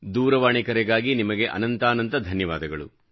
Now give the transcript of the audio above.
ದೂರವಾಣಿ ಕರೆಗಾಗಿ ನಿಮಗೆ ಅನಂತಾನಂತ ಧನ್ಯವಾದಗಳು